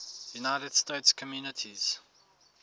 united states communities